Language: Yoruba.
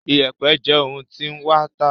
Iyẹ̀pẹ̀ jé òún ti wan tá